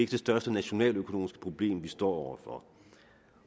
det største nationaløkonomiske problem vi står